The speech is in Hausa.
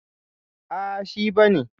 Ah, shi ba ne.